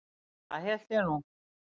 Það hélt ég nú.